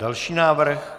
Další návrh.